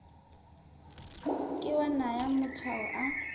ke wa naya matshwao a